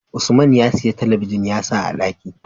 Usman ya siya talabijin ya sa a ɗaki